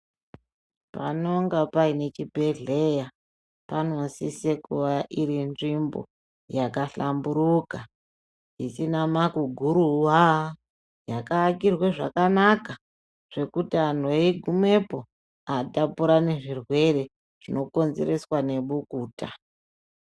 Panonga paine chibhehleya , panosise kuwa iri nzvimbo yakahlamburuka isina makuguruwa , yakaakirwe zvakanaka zvekuti anhu eigumepo aatapurani zvirwere zvinokonzereswa nebukuta .